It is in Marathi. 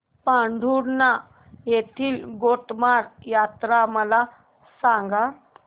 पांढुर्णा येथील गोटमार यात्रा मला सांग